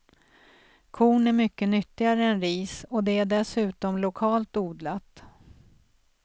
Korn är mycket nyttigare än ris och det är dessutom lokalt odlat.